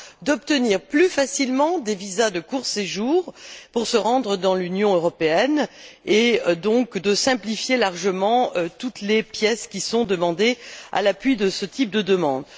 d'obtenir plus facilement des visas de court séjour pour se rendre dans l'Union européenne et donc de simplifier largement toutes les exigences relatives aux pièces qui sont demandées à l'appui de ce type de demande.